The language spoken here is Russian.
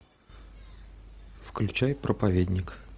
включай проповедник